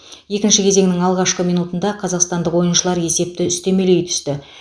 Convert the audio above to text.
екінші кезеңнің алғашқы минутында қазақстандық ойыншылар есепті үстемелей түсті